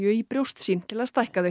í brjóst sín til að stækka þau